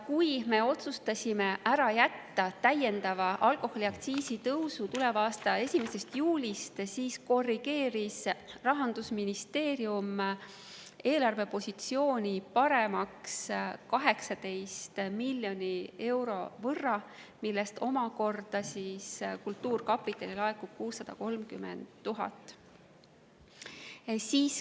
Kui me otsustasime ära jätta täiendava alkoholiaktsiisi tõusu tuleva aasta 1. juulil, siis korrigeeris Rahandusministeerium eelarvepositsiooni paremaks 18 miljoni euro võrra, millest kultuurkapitali laekub omakorda 630 000 eurot.